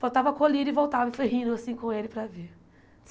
Botava colírio, e voltava e rindo assim com ele para ver.